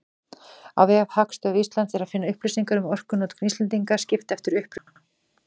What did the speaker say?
Á vef Hagstofu Íslands er að finna upplýsingar um orkunotkun Íslendinga, skipt eftir uppruna.